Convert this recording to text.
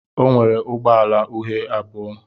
O nwere ụgbọ ala uhie abụọ.